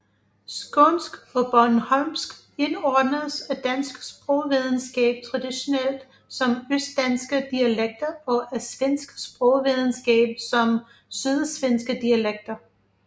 Skånsk og bornholmsk indordnes af dansk sprogvidenskab traditionelt som østdanske dialekter og af svensk sprogvidenskab som sydsvenske dialekter